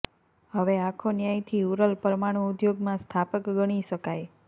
હવે આંખો ન્યાયથી ઉરલ પરમાણુ ઉદ્યોગમાં સ્થાપક ગણી શકાય